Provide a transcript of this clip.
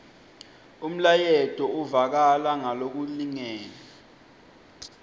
umlayeto uvakala ngalokulingene